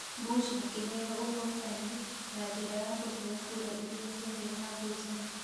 Bush akĩheo ũhootani na njĩra ya kũheo kura iria ciarĩ na ngucanio.